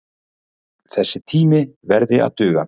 Þessi tími verði að duga.